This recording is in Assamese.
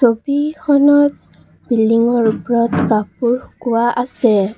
ছবিখনত বিল্ডিং ৰ ওপৰত কাপোৰ শুকুৱা আছে।